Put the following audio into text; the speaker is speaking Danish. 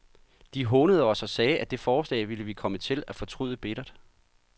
De hånede os og sagde, at det forslag ville vi komme til at fortryde bittert.